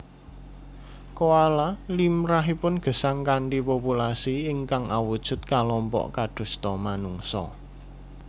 Koala limrahipun gesang kanthi populasi ingkang awujud kalompok kadosta manungsa